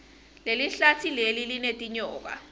lelihlatsi leli linetinyoka